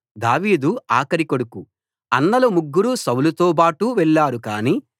దావీదు ఆఖరి కొడుకు అన్నలు ముగ్గురూ సౌలుతోబాటు వెళ్లారు కాని